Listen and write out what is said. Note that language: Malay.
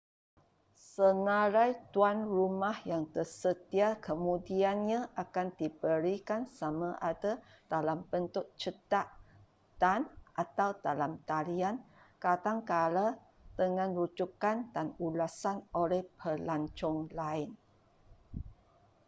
senarai tuan rumah yang tersedia kemudiannya akan diberikan sama ada dalam bentuk cetak dan/atau dalam talian kadangkala dengan rujukan dan ulasan oleh pelancong lain